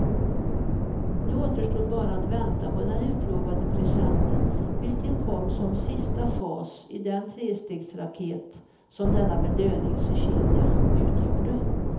Nu återstod bara att vänta på den utlovade presenten, vilken kom som sista fas i den trestegsraket som denna belöningskedja utgjorde.